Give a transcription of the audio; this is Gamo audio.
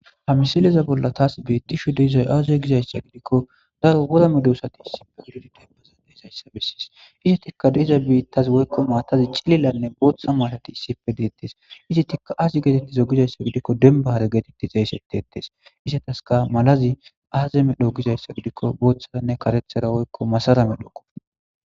ha misaleza bolla taas beettisho diizay aaze gizayssa gidikko daro wora medosati issife gudodi dembaza deezayssa bessis izi tikka deeza biittazi woykko maatazi cililanne bootha maalati issipe deettes izi tikka azi geetetti zo gizayssa gidikko denbahare geetetti zaysetteettes izataska malazi aazeme dho gizayssa gidikko booththaanne karethera woykko masaramedhoko